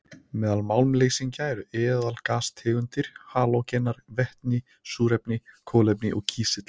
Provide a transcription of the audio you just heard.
Meðal málmleysingja eru eðalgastegundir, halógenar, vetni, súrefni, kolefni og kísill.